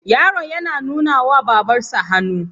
Yaron yana nunawa Babarsa hannu.